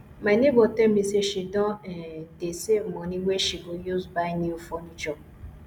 my nebor tell me say she don um dey save money wey she go use buy new furniture